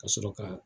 Ka sɔrɔ ka